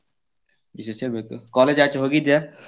ವಿಶೇಷ ಹೇಳ್ಬೇಕು college ಆಚೆ ಹೋಗಿದ್ಯಾ?